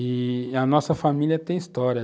E a nossa família tem história.